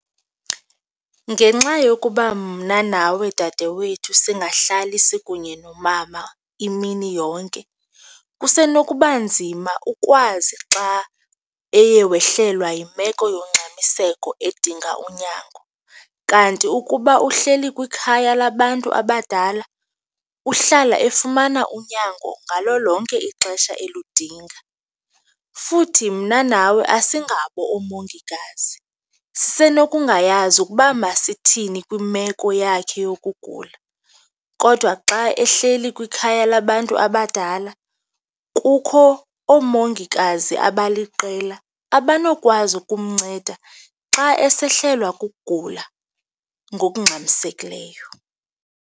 Ngenxa yokuba mna nawe dadewethu singahlali sikunye nomama imini yonke, kusenokuba nzima ukwazi xa eye wehlelwa yimeko yongxamiseko edinga unyango kanti ukuba uhleli kwikhaya labantu abadala, uhlala efumana unyango ngalo lonke ixesha eludinga. Futhi mna nawe asingabo oomongikazi, sisenokungayazi ukuba masithini kwimeko yakhe yokugula kodwa xa ehleli kwikhaya labantu abadala kukho oomongikazi abaliqela abanokwazi ukumnceda xa esehlelwa kukugula ngokungxamisekileyo.